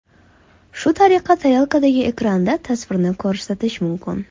Shu tariqa tarelkadagi ekranda tasvirni ko‘rsatish mumkin.